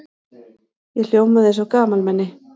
Ég hljómaði eins og gamalmenni.